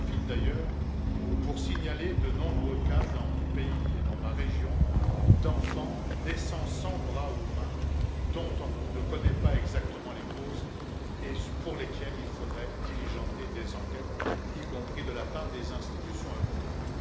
J'en profite d'ailleurs pour signaler de nombreux cas, dans mon pays et dans ma région, d'enfants naissant sans bras aux mains, des cas dont on ne connaît pas exactement les causes et pour lesquels il faudrait diligenter des enquêtes, y compris de la part des institutions européennes.